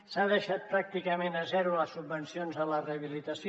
s’han deixat pràcticament a zero les subvencions a la rehabilitació